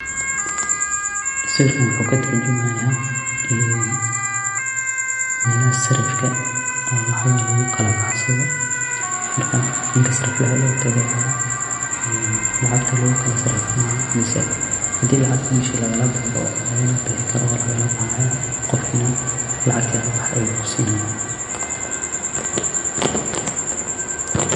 Sawirka wuxu katurjumaya, een melaha sarifka oo lacagaha lakukalabahsado, marka ninka sariflaxa aya lotagaya, een lacagta lagukalasarifanaya mise xadhi lacag mesha lagalabixikaro wa lagalabaxaya, gofki nax lacagti adh labaxdhe ayu kusinaya.